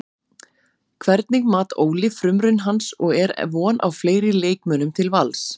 Hvernig mat Óli frumraun hans og er von á fleiri leikmönnum til Vals?